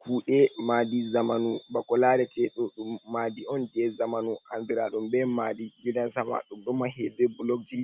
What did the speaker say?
Kude madi zamanu. bako larete ɗum madi on je zamanu andiradon be madi gidansama. Ɗum ɗo mahe be bulogji